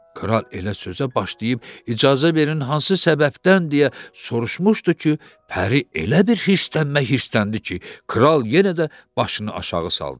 Kral elə sözə başlayıb icazə verin hansı səbəbdəndir deyə soruşmuşdu ki, pəri elə bir hirslənmə hirsləndi ki, kral yenə də başını aşağı saldı.